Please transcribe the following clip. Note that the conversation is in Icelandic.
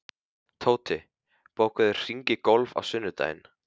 Tóti, bókaðu hring í golf á sunnudaginn.